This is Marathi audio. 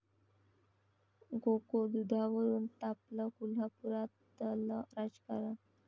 गोकुळ दुधावरून तापलं कोल्हापुरातलं राजकारण!